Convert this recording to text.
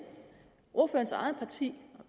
ordførerens eget parti